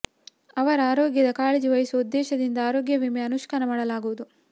ಅವರ ಆರೋಗ್ಯದ ಕಾಳಜಿ ವಹಿಸುವ ಉದ್ದೇಶದಿಂದ ಆರೋಗ್ಯ ವಿಮೆ ಅನುಷ್ಠಾನ ಮಾಡಲಾಗುವುದು